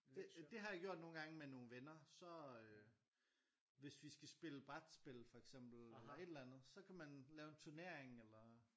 Det øh det har jeg gjort nogen gange med nogle venner så øh hvis vi skal spille brætspil for eksempel eller et eller andet så kan man lave en turnering eller